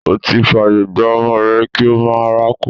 O ti fàyè gba ọmọ rẹ kí ó máa rákò.